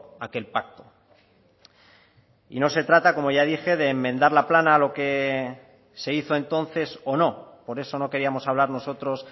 aquel pacto y no se trata como ya dije de enmendar la plana a lo que se hizo entonces o no por eso no queríamos hablar nosotros